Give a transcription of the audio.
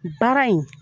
Baara in